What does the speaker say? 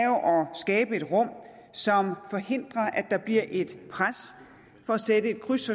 skabe et rum som forhindrer at der bliver et pres for at sætte et kryds